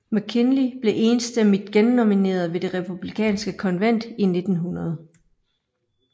McKinley blev enstemmigt gennomineret ved det republikanske konvent i 1900